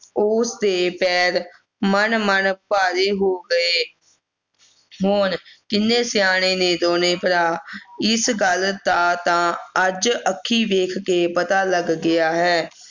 ਉਸ ਦੇ ਪੈਰ ਮਣ ਮਣ ਭਾਰੇ ਹੋ ਗਏ ਹੋਰ ਕਿੰਨੇ ਸਿਆਣੇ ਨੇ ਦੋਨੋਂ ਭਰਾ ਇਸ ਗੱਲ ਦਾ ਤਾਂ ਅੱਜ ਅੱਖੀਂ ਵੇਖ ਕੇ ਪਤਾ ਲੱਗ ਗਿਆ ਹੈ